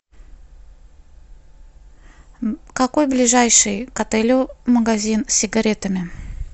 какой ближайший к отелю магазин с сигаретами